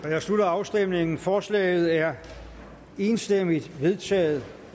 jeg slutter afstemningen forslaget er enstemmigt vedtaget